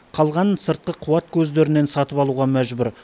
қалғанын сыртқы қуат көздерінен сатып алуға мәжбүр